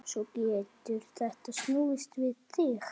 Svo getur þetta snúist við.